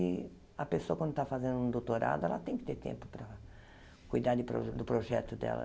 E a pessoa, quando está fazendo um doutorado, ela tem que ter tempo para cuidar de pro do projeto dela.